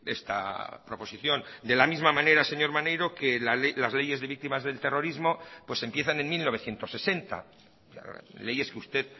esta proposición de la misma manera señor maneiro que las leyes de víctimas del terrorismo pues empiezan en mil novecientos sesenta leyes que usted